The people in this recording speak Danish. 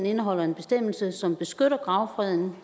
indeholder en bestemmelse som beskytter gravfreden